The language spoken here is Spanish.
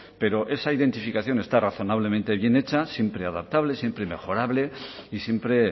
pero esa identificación está razonablemente bien hecha siempre adaptable siempre mejorable y siempre